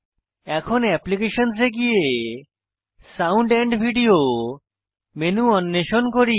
এখন অ্যাপ্লিকেশনস এ গিয়ে সাউন্ড ভিডিও মেনু অন্বেষণ করি